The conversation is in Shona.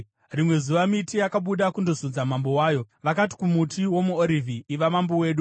Rimwe zuva miti yakabuda kundozodza mambo wayo. Vakati kumuti womuOrivhi, ‘Iva mambo wedu.’